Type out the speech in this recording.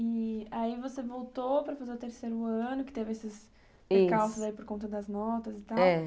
E aí você voltou para fazer o terceiro ano, que teve esses, isso, percalços aí por conta das notas e tal. É